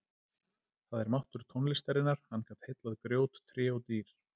Það er máttur tónlistarinnar, hann gat heillað grjót, tré og dýr.